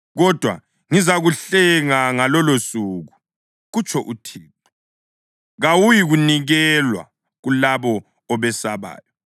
Kodwa ngizakuhlenga ngalolosuku, kutsho uThixo; kawuyikunikelwa kulabo obesabayo.